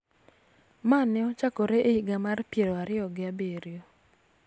Ma ne ochakore e higa mar piero ariyo gi abiro,